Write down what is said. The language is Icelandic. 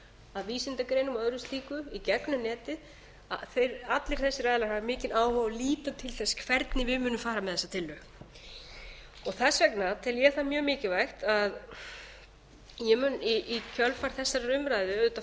að vísindagreinum og öðru slíku í gegnum netið allir þessir aðilar hafa áhuga á því að líta til þess hvernig við munum fara með þessa tillögu þess vegna tel ég það mjög mikilvægt að ég mun í kjölfar þessarar umræðu auðvitað